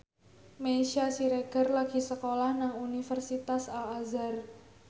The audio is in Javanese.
Meisya Siregar lagi sekolah nang Universitas Al Azhar